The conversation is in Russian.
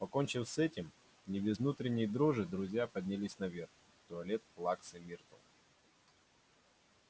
покончив с этим не без внутренней дрожи друзья поднялись наверх в туалет плаксы миртл